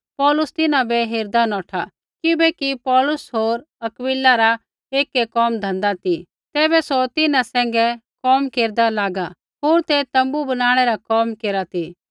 पौलुस तिन्हां बै हेरदा नौठा किबैकि पौलुस होर अक्विला रा एकै कोम धन्धा ती तैबै सौ तिन्हां सैंघै कोम केरदा लागू होर तै तोम्बू बनाणै रा कोम केरा ती